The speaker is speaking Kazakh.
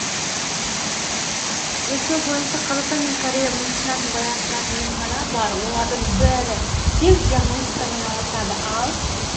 зерттеу бойынша қазақстан мен корея медицинасын байланыстыратын емхана бар олардың бәрі тек диагностикамен айналысады ал